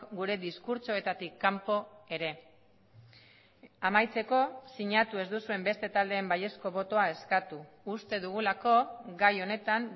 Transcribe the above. gure diskurtsoetatik kanpo ere amaitzeko sinatu ez duzuen beste taldeen baiezko botoa eskatu uste dugulako gai honetan